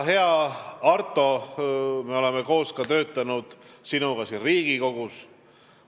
Hea Arto, me oleme sinuga ka siin Riigikogus koos töötanud.